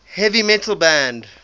heavy metal band